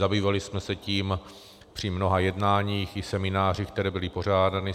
Zabývali jsme se tím při mnoha jednáních i seminářích, které byly pořádány.